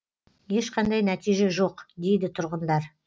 ешқандай нәтиже жоқ дейді тұрғындар